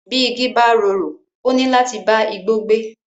Bí igi bá rorò, ó níláti bá igbó gbé.